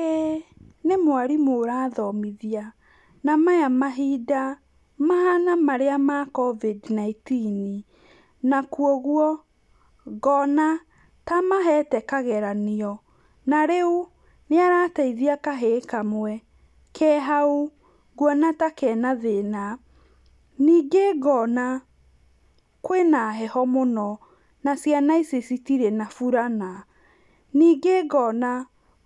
ĩĩ, nĩ mwarimũ ũrathomithia, na maya mahinda mahana maríĩ ma Covid-nineteen na kwa ũguo, ngona, ta amahete kageranio, na rĩu, nĩarateithia kahĩĩ kamwe, kehau, nguona ta kena thĩna, nĩngĩ ngona kwĩna heho mũno, na ciana ici citirĩ na burana, ningĩ ngona,